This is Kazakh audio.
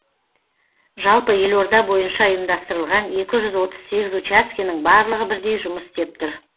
жалпы елорда бойынша ұйымдастырылған екі жүз отыз сегіз учаскенің барлығы бірдей жұмыс істеп тұр